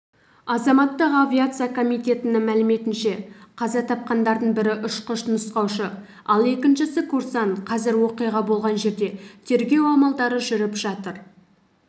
азаматтық авиация комитетінің мәліметінше қаза тапқандардың бірі ұшқыш-нұсқаушы ал екіншісі курсант қазір оқиға болған жерде тергеу амалдары жүріп жатыр